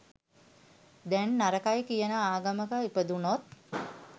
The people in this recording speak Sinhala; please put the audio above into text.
දැන් නරකයි කියන ආගමක ඉපදුනොත්